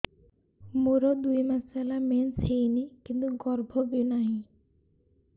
ମୋର ଦୁଇ ମାସ ହେଲା ମେନ୍ସ ହେଇନି କିନ୍ତୁ ଗର୍ଭ ବି ନାହିଁ